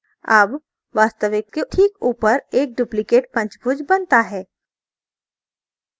अब वास्तविक के ठीक ऊपर एक duplicate पंचभुज बनता है